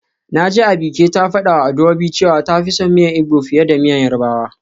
Naji Abike ta fadawa Adaobi cewa ta fi son miyan igbo fiye da miyan yoruba.